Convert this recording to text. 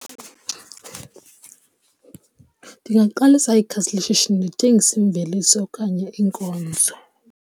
Ndingaqalisa ikhasi leshishini ndithengise iimveliso okanye iinkonzo.